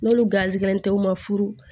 N'olu garisigɛlen tɛ u ma furu